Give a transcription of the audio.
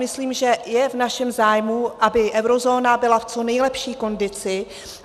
Myslím, že je v našem zájmu, aby eurozóna byla v co nejlepší kondici.